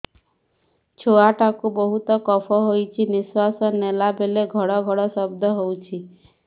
ଛୁଆ ଟା କୁ ବହୁତ କଫ ହୋଇଛି ନିଶ୍ୱାସ ନେଲା ବେଳେ ଘଡ ଘଡ ଶବ୍ଦ ହଉଛି